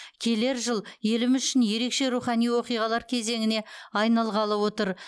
келер жыл еліміз үшін ерекше рухани оқиғалар кезеңіне айналғалы отыр